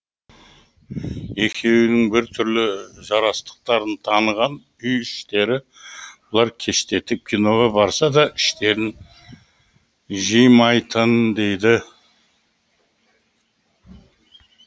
екеуінің бір түрлі жарастықтарын таныған үй іштері бұлар кештетіп киноға барса да іштерін жимайтын